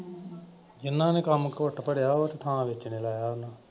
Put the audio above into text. ਜਿਨ੍ਹਾਂ ਨੇ ਕੰਮ ਘੁੱਟ ਭਰਿਆ ਹੋਇਆ ਤੇ ਥਾਂ ਵੇਚਣੇ ਲਾਇਆ ਉਨ੍ਹਾਂ ਨੇ।